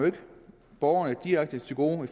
borgerne direkte til gode